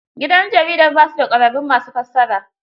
Gidan jaridar ba su da ƙwararrun ma su fassara.